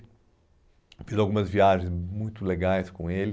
Eu fiz algumas viagens muito legais com ele.